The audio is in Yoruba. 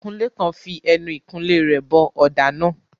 Akunlé kan fi ẹnu ìkunlé rẹ̀ bọ ọ̀dà náà.